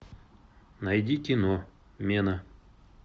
найди кино мена